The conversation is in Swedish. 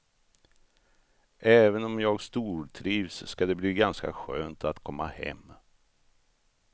Även om jag stortrivs ska det bli ganska skönt att komma hem.